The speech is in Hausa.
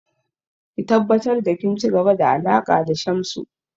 Ki tabbatar da kin ci gaba da alaƙa da Shamsu!